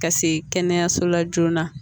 Ka se kɛnɛyaso la joona